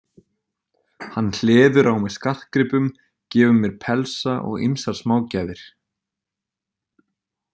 Hann hleður á mig skartgripum, gefur mér pelsa og ýmsar smágjafir.